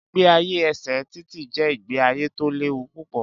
Ìgbé ayé ẹsẹ títì jé ìgbé ayé tó léwu púpọ̀